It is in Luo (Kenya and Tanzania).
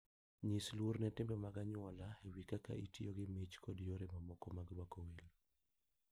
Nyis luor ne timbe mag anyuola e wi kaka itiyo gi mich kod yore mamoko mag rwako welo.